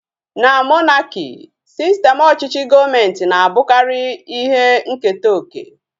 Na monaki, sistem ọchịchị gọọmenti na-abụkarị ihe nketa oke